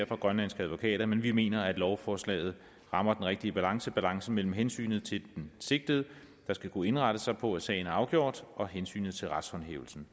fra grønlandske advokaters side men vi mener at lovforslaget rammer den rigtige balance nemlig balancen mellem hensynet til den sigtede der skal kunne indrette sig på at sagen er afgjort og hensynet til retshåndhævelsen